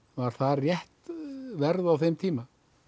var það rétt verð á þeim tíma